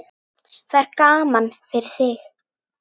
Það er gaman fyrir þig.